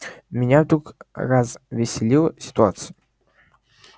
меня вдруг развеселила ситуация